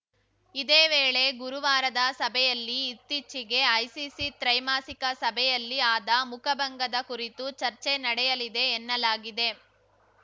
ಇದೇ ವೇಳೆ ಗುರುವಾರದ ಸಭೆಯಲ್ಲಿ ಇತ್ತೀಚಿಗೆ ಐಸಿಸಿ ತ್ರೈಮಾಸಿಕ ಸಭೆಯಲ್ಲಿ ಆದ ಮುಖಭಂಗದ ಕುರಿತೂ ಚರ್ಚೆ ನಡೆಯಲಿದೆ ಎನ್ನಲಾಗಿದೆ